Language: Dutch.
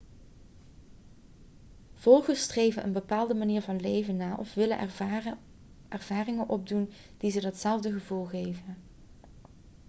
volgers streven een bepaalde manier van leven na of willen ervaringen opdoen die ze datzelfde gevoel geven